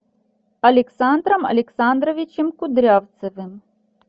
александром александровичем кудрявцевым